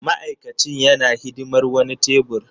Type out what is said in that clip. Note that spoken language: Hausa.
Ma'aikacin yana hidimar wani tebur.